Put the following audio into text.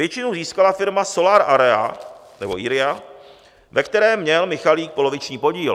Většinu získala firma Solar Area, ve které měl Michalik poloviční podíl.